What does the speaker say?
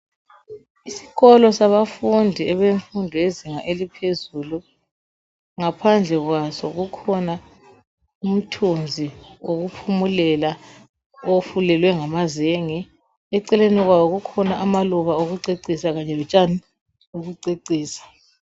Isikolo sabafundi abemfundo yezinga eliphezulu, ngaphandle kwaso kukhona umthunzi wokuphumulela ofulelwe ngamazenge. Eceleni kwawo kukhona amaluba okucecisa kanye lotshani bokucecisa.